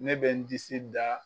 Ne bɛ n disi da.